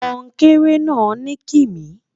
kònkere na nikimi